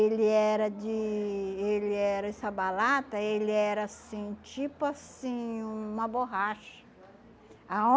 Ele era de ele era essa balata ele era assim tipo assim uma borracha.